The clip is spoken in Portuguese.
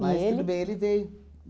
Mas, tudo bem, ele veio.